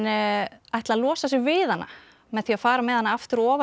ætla að losa sig við hana með því að fara með hana aftur ofan í